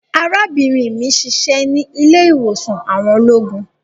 Arabinrin mi n ṣiṣẹ ni ile-iwosan àwọn ologun